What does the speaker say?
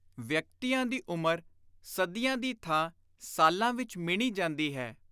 ਵਿਅਕਤੀਆਂ ਦੀ ਉਮਰ ਸਦੀਆਂ ਦੀ ਥਾਂ ਸਾਲਾਂ ਵਿਚ ਮਿਣੀ ਜਾਂਦੀ ਹੈ।